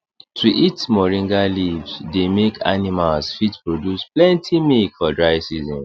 to eat moringa leave dey make animals fit produce plenty milk for dry season